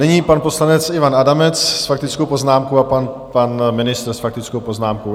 Nyní pan poslanec Ivan Adamec s faktickou poznámkou a pan ministr s faktickou poznámkou.